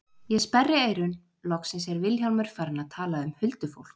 Ég sperri eyrun, loksins er Vilhjálmur farinn að tala um huldufólk.